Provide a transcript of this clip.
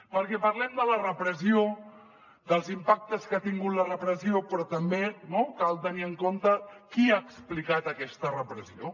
perquè parlem de la repressió dels impactes que ha tingut la repressió però també cal tenir en compte qui ha explicat aquesta repressió